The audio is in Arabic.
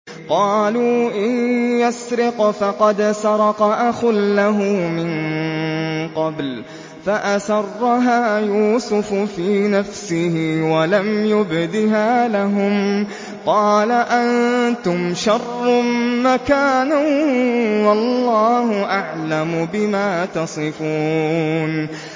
۞ قَالُوا إِن يَسْرِقْ فَقَدْ سَرَقَ أَخٌ لَّهُ مِن قَبْلُ ۚ فَأَسَرَّهَا يُوسُفُ فِي نَفْسِهِ وَلَمْ يُبْدِهَا لَهُمْ ۚ قَالَ أَنتُمْ شَرٌّ مَّكَانًا ۖ وَاللَّهُ أَعْلَمُ بِمَا تَصِفُونَ